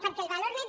perquè el valor net